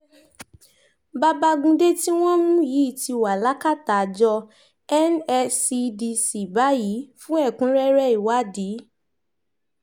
babagundé tí wọ́n mú yìí ti wà lákàtà àjọ nscdc báyìí fún ẹ̀kúnrẹ́rẹ́ ìwádìí